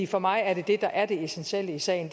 for mig er det det der er det essentielle i sagen